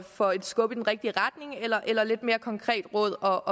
for et skub i den rigtige retning eller eller lidt mere konkret råd og